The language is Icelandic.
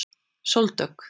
Sóldögg